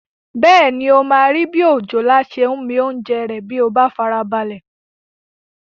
Bẹ́ẹ̀ni, o máa rí bi òjòlá ṣe ń mi oúnjẹ rẹ̀ bí o bá farabalẹ̀